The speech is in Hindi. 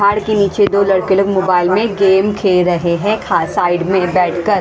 पहाड़ के नीचे दो लड़के लोग मोबाइल में गेम खेल रहे हैं खा साइड में बैठकर--